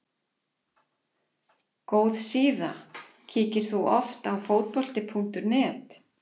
góð síða Kíkir þú oft á Fótbolti.net?